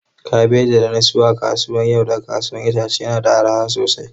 Kabeji da na sayo a safiyar yau daga kasuwar 'ya'yan itace yana da arha sosai.